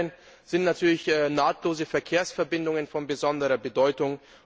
Des Weiteren sind nahtlose Verkehrsverbindungen von besonderer Bedeutung.